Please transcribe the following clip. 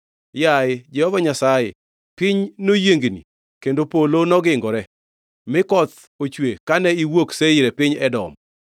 “Yaye Jehova Nyasaye, piny noyiengni, kendo polo nogingore, mi koth ochwe kane iwuok Seir e piny Edom.